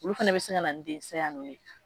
Olu fana bɛ se ka na den saya ninnu ye